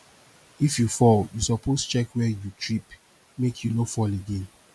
if you fall you suppose check where you trip make you no fall again